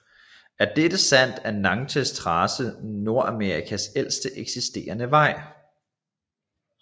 Er dette sandt er Natchez Trace Nordamerikas ældste eksisterende vej